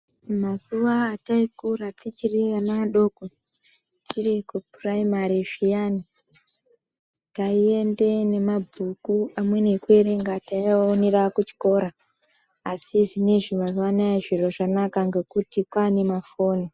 Mazuva ataikura tichiri ana adoko tiri kupuraimari zviyani taienda nemabhuku amweni ekuerenga taionera kuchikora asi zvinezvi nazuva anaya zviro zvanaka ngekuti kwane mafoni.